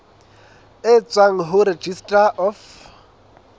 e tswang ho registrar of